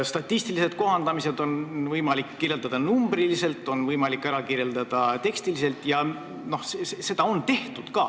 Statistilisi kohandamisi on võimalik kirjeldada numbriliselt ja tekstiliselt ning seda on ka tehtud.